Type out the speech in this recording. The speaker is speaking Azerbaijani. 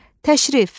Təşrif,